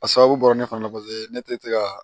A sababu bɔra ne fana paseke ne tɛ se ka